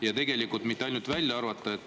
Ja tegelikult mitte ainult välja arvata.